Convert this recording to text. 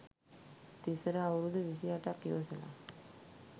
තිසර අවුරුදු විසි අටක් ඉවසල